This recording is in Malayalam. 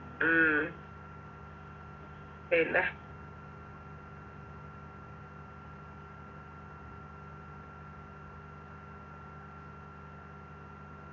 ഉം പിന്നെ